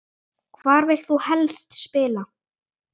Hvar vilt þú helst spila?